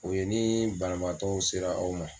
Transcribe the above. O ye ni banabaatɔw sera aw ma